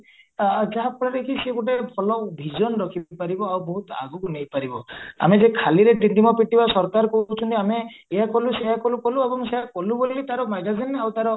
ଆ ଯାହା ଫଳରେକି ସିଏ ଗୋଟେ ଭଲ vision ରଖିପାରିବ ଆଉ ବହୁତ ଆଗକୁ ନେଇପାରିବ ଆମେ ଯେ ଖାଲିରେ ସରକାର କହୁଚନ୍ତି ଆମେ ଏଇଆ କଲୁ ସେଇଆ କଲୁ କଲୁ ସେଇଆ କଲୁ ବୋଲି ତାର magazine ଆଉ ତାର